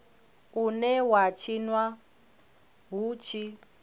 une wa tshinwa hu tshi